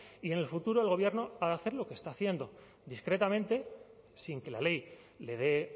y en el futuro el gobierno ha de hacer lo que está haciendo discretamente sin que la ley le dé